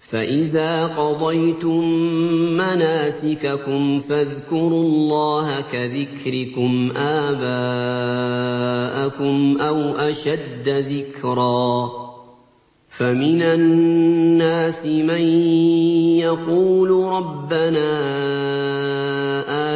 فَإِذَا قَضَيْتُم مَّنَاسِكَكُمْ فَاذْكُرُوا اللَّهَ كَذِكْرِكُمْ آبَاءَكُمْ أَوْ أَشَدَّ ذِكْرًا ۗ فَمِنَ النَّاسِ مَن يَقُولُ رَبَّنَا